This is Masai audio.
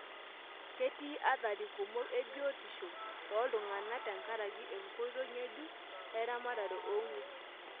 Ketii athari kumok e biotisho tooltungana tenkaraki enkoitoi ngejuk eramatata oonwesi.